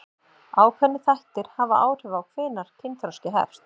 Ákveðnir þættir hafa áhrif á hvenær kynþroski hefst.